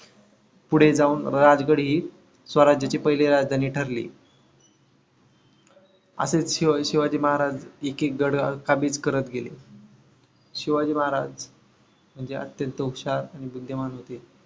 पुढे जाऊन राजगड हे स्वराज्याची पहिली राजधानी ठरली. असेच शिव शिवाजी महाराज एक एक गढ हा काबिज करत गेले. शिवाजी महाराज म्हणजे अत्यंत हुशार आणि बुद्धिमान होते.